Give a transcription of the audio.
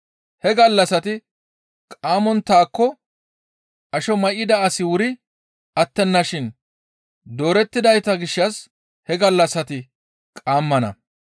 He gallassati qaammonttaako asho may7ida asi wuri attenna shin doorettidayta gishshas he gallassati qaammana.